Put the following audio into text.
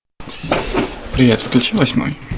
привет включи восьмой